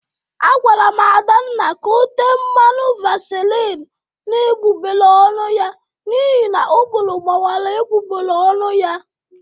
Agwara m Adanna ka o tee mmanụ vasilini n'egbụgbere ọnụ ya n'ihi na ụgụrụ gbawara egbụgbere ọnụ ya